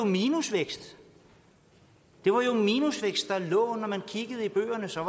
minusvækst det var jo minusvækst når man kiggede i bøgerne så